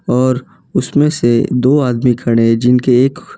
और उसमें से दो आदमी खड़े हैं जिनके एक--